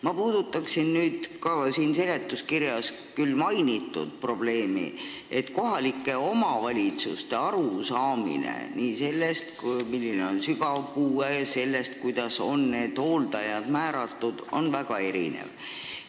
Ma puudutaksin ka seletuskirjas mainitud probleemi, et kohalike omavalitsuste arusaamine nii sellest, milline on sügav puue, kui ka sellest, kuidas hooldajaid määrata, on väga erinev.